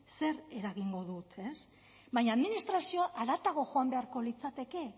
zer eragingo dut baina administrazioa haratago joan beharko litzateke